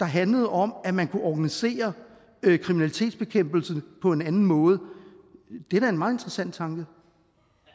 handlede om at man kunne organisere kriminalitetsbekæmpelsen på en anden måde da er en meget interessant tanke